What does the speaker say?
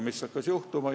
Mis hakkas juhtuma?